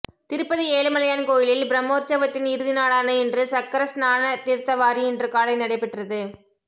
திருப்பதி ஏழுமலையான் கோயிலில் பிரம்மோற்சவத்தின் இறுதி நாளான இன்று சக்கரஸ்நான தீர்த்தவாரி இன்று காலை நடைபெற்றது